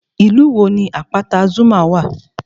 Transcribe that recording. Ìlú wo ni àpáta Zuma wà?